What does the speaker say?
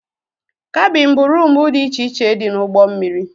Kabin bụ roomu dị iche iche dị n'ugbó mmiri.